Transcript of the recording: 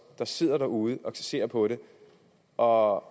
der sidder derude og ser på det og